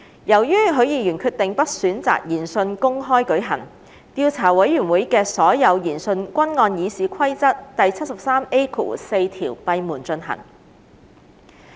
由於許議員決定不選擇研訊公開舉行，調査委員會的所有研訊均按《議事規則》第 73A4 條閉門進行。